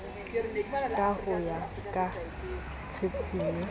ka ho ya ka tshitshinyo